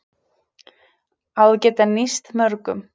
Á að geta nýst mörgum